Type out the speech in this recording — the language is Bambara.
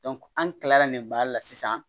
an kilala nin baara la sisan